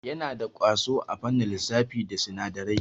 Yana da ƙwazo a fannin lissafi da sinadarai.